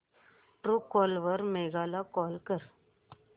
Truecaller वर मेघा ला call कर